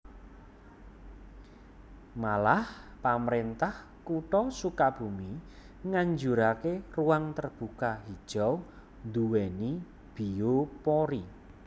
Malah pamrentah Kutha Sukabumi nganjurake ruang terbuka hijau duweni biopori